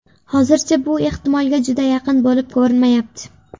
Hozircha bu ehtimolga juda yaqin bo‘lib ko‘rinmayapti.